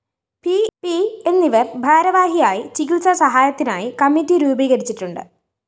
P എന്നിവര്‍ ഭാരവാഹിയായി ചികിത്സാ സഹായത്തിനായി കമ്മിറ്റി രൂപീകരിച്ചിട്ടുണ്ട്